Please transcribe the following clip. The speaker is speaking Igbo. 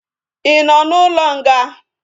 Ị nọ n'ụlọ nga?